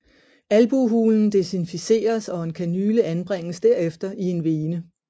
Albuehulen desinficeres og en kanyle anbringes derefter i en vene